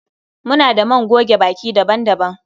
Muna da man goge baki daban-daban